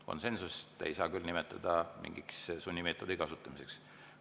Konsensust ei saa küll nimetada mingiks sunnimeetodi kasutamiseks.